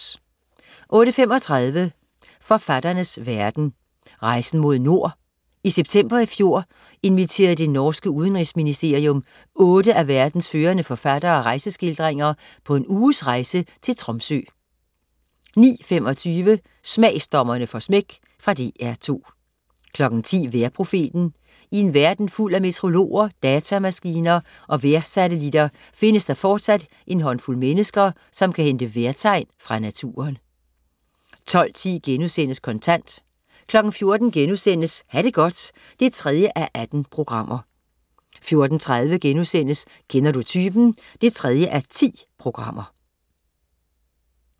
08.35 Forfatternes verden: Rejsen mod nord. I september i fjor inviterede det norske udenrigsministerium otte af verdens førende forfattere af rejseskildringer på en uges rejse til Tromsø 09.25 Smagsdommerne får smæk. Fra DR2 10.00 Vejrprofeten. I en verden fuld af meteorologer, datamaskiner og vejrsatellitter findes der fortsat en håndfuld mennesker, som kan hente vejrtegn fra naturen 12.10 Kontant* 14.00 Ha' det godt 3:18* 14.30 Kender du typen? 3:10*